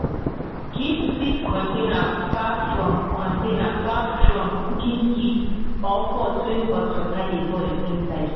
keep seed container far from container far from cooking heat or pot wey hot water dey boil inside.